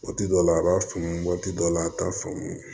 Waati dɔ la a b'a faamu waati dɔ la a t'a faamu